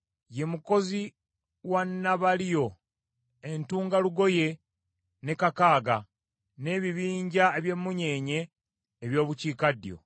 Ye mukozi wa Nabaliyo, entungalugoye ne Kakaaga, n’ebibinja eby’emunyeenye eby’obukiikaddyo.